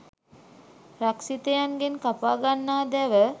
රක්ෂිතයන් ගෙන් කපා ගන්නා දැව